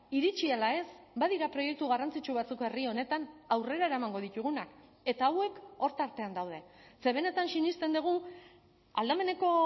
iritsi ala ez badira proiektu garrantzitsu batzuk herri honetan aurrera eramango ditugunak eta hauek hor tartean daude ze benetan sinesten dugu aldameneko